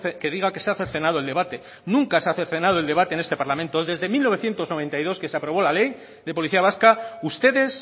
que diga que se ha cercenado el debate nunca se ha cercenado el debate en este parlamento desde mil novecientos noventa y dos que se aprobó la ley de policía vasca ustedes